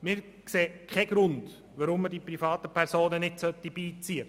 Wir sehen keinen Grund, warum man keine privaten Personen beiziehen sollte.